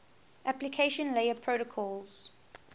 application layer protocols